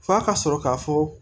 F'a ka sɔrɔ k'a fɔ